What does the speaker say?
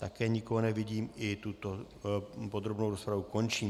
Také nikoho nevidím, i tuto podrobnou rozpravu končím.